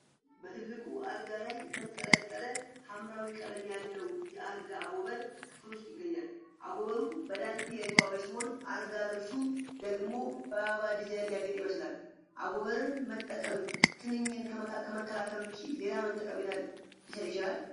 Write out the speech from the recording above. በትልቁ አልጋ ላይ የተንጠለጠለ ሐምራዊ ቀለም ያለው የአልጋ አጎበር ክፍል ውስጥ ይገኛል። አጎበሩ በዳንቴል የተዋበ ሲሆን፣ አልጋ ልብሱ ደግሞ በአበባ ዲዛይን ያጌጠ ይመስላል። አጎበርን መጠቀም ትንኝን ከመከላከል ውጪ ሌላ ምን ጠቀሜታ ሊሰጥ ይችላል?